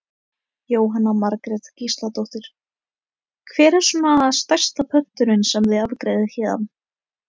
Jóhanna Margrét Gísladóttir: Hver er svona stærsta pöntunin sem þið afgreiðið héðan?